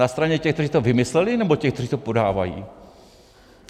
Na straně těch, kteří to vymysleli, nebo těch, kteří to podávají?